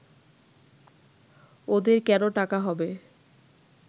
ওদের কেন টাকা হবে